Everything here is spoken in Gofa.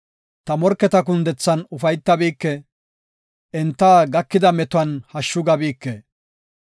“Ta morketa kundethan ufaytabike; enta gakida metuwan hashshu gabike.